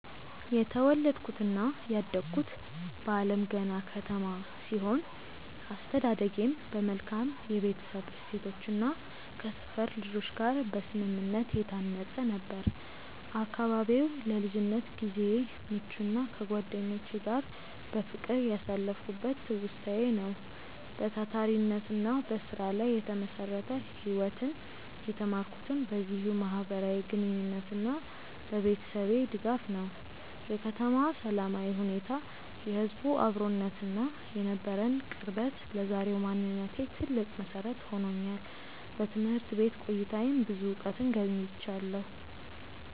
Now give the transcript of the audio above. የተወለድኩትና ያደግኩት በአለምገና ከተማ ሲሆን፣ አስተዳደጌም በመልካም የቤተሰብ እሴቶችና ከሰፈር ልጆች ጋር በስምምነት የታነጸ ነበር። አካባቢው ለልጅነት ጊዜዬ ምቹና ከጓደኞቼ ጋር በፍቅር ያሳለፍኩበት ትውስታዬ ነው። በታታሪነትና በስራ ላይ የተመሰረተ ህይወትን የተማርኩትም በዚሁ ማህበራዊ ግንኙነትና በቤተሰቤ ድጋፍ ነው። የከተማዋ ሰላማዊ ሁኔታ፣ የህዝቡ አብሮነትና የነበረን ቅርበት ለዛሬው ማንነቴ ትልቅ መሰረት ሆኖኛል። በትምህርት ቤት ቆይታዬም ብዙ እውቀትን ገብይቻለሁ።